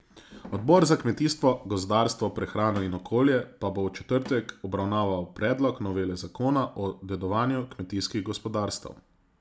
Odbor za kmetijstvo, gozdarstvo, prehrano in okolje pa bo v četrtek obravnaval predlog novele zakona o dedovanju kmetijskih gospodarstev.